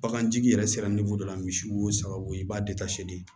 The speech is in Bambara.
Bagantigi yɛrɛ sera dɔ la misi wo saga wo i b'a de